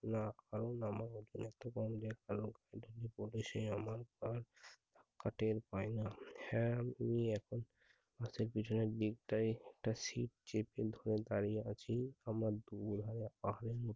রাখাল নামক একজন একটি গান দেখালো। গাঁ ঘাটের পায়রা, হ্যাঁ ওই একই মাথার পেছনের দিকটায় একটা ছিপ চেপে ধ~ দারিয়ে আছি। আমার দূর